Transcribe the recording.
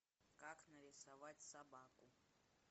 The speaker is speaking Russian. как нарисовать собаку